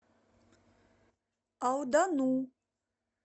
алдану